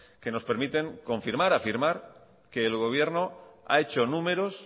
que nos permiten confirmar afirmar que el gobierno ha hecho números